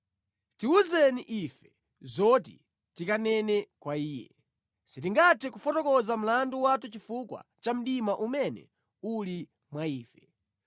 “Tiwuzeni ife zoti tikanene kwa Iye; sitingathe kufotokoza mlandu wathu chifukwa cha mdima umene uli mwa ife.